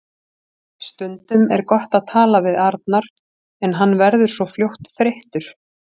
Stundum er gott að tala við Arnar en hann verður svo fljótt þreyttur.